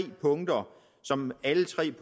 punkter som alle tre